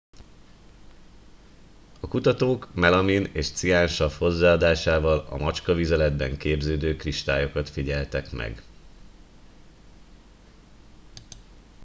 a kutatók melamin és ciánsav hozzáadásával a macskavizeletben képződő kristályokat figyeltek meg